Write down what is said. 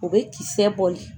O bɛ kisɛ bɔli